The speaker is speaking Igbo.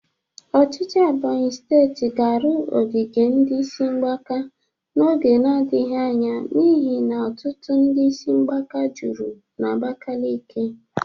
Ọchịchị Ebonyi steeti ga-arụ ogige ndị isi mgbaka n'oge na-adaghị anya n'ihi ọtụtụ ndị isi mgbaka juru n'Abakeleke.